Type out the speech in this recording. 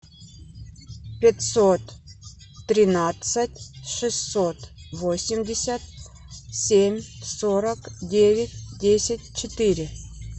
пятьсот тринадцать шестьсот восемьдесят семь сорок девять десять четыре